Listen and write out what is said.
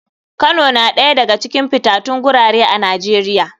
Kano na ɗaya daga cikin fitatun gurare a nijeria.